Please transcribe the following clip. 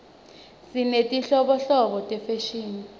sinetinhlobonhlobo tefashini